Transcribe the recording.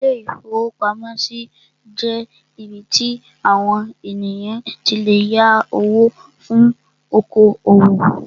Ilé-ìfowópamọ́sí jẹ́ ibí tí àwon ènìyàn tí lè yá owó fún oko-òwò